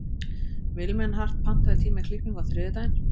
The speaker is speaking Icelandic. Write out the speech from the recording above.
Vilmenhart, pantaðu tíma í klippingu á þriðjudaginn.